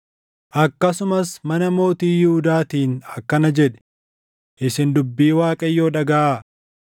“Akkasumas mana mootii Yihuudaatiin akkana jedhi; ‘Isin dubbii Waaqayyoo dhagaʼaa;